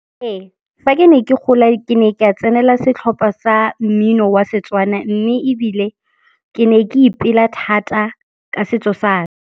Ee, fa ke ne ke gola ke ne ka tsenela setlhopa sa mmino wa Setswana mme ebile ke ne ke ipela thata ka setso sa.